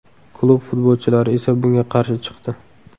Klub futbolchilari esa bunga qarshi chiqdi.